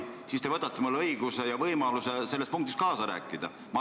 Nii te võtate mult õiguse ja võimaluse nendes punktides kaasa rääkida.